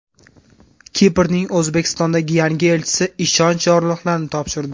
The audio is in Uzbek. Kiprning O‘zbekistondagi yangi elchisi ishonch yorliqlarini topshirdi.